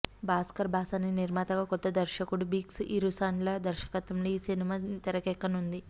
భాస్కర్ బాసాని నిర్మాతగా కొత్త దర్శకుడు బిక్స్ ఇరుసడ్ల దర్శకత్వంలో ఈ సినిమా తెరకేక్కనున్నది